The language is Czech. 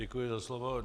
Děkuji za slovo.